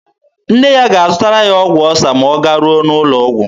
Nne ya ga-azụtara ya ọgwụ ọsa ma ọ garuo n'ụlọ ọgwụ.